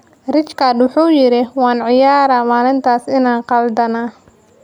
Rijkaard wuxuu yiri: "Waan qirayaa maalintaas inaan qaldanaa.